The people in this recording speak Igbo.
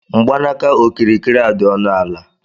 Mgbaaka okirikiri a dị ọnụ ala